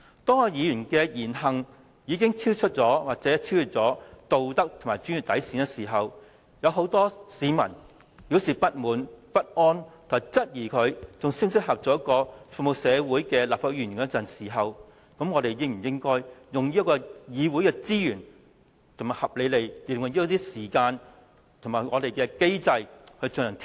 當議員的言行已經超出或超越道德和專業底線，有很多市民表示不滿、不安，並質疑何議員是否仍適合擔任服務社會的立法會議員時，我們應否運用議會的資源，合理地使用一些時間，並按立法會既有機制來進行調查？